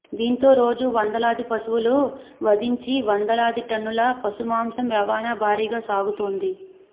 దీంతో రోజూ వందలాది పశువులు వధించి వందలాది టన్నుల పశు మాంసం రవాణా భారీగా సాగుతోంది